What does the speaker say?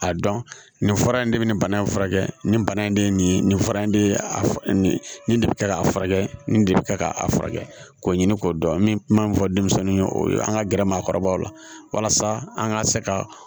A dɔn nin fura in de bɛ nin bana in furakɛ nin bana in de nin fara in de nin de bɛ kɛ k'a furakɛ nin de bɛ kɛ k'a furakɛ k'o ɲini k'o dɔn n bɛ kuma min fɔ denmisɛnnin ye o ye an ka gɛrɛ maakɔrɔbaw la walasa an ka se ka